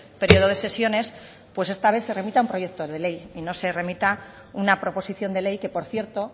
periodo de sesiones pues esta vez se remita un proyecto de ley y no se remita una proposición de ley que por cierto